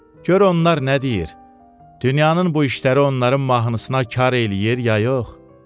Gör onlar nə deyir, dünyanın bu işləri onların mahnısına kar eləyir ya yox.